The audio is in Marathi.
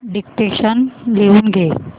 डिक्टेशन लिहून घे